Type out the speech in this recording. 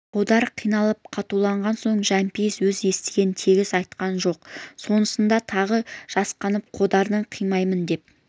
қодар қиналып қатуланған соң жәмпейіс өз естігенін тегіс айтқан жоқ сонысынан тағы жасқанып қодарды қинамайын деп